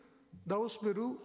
дауыс беру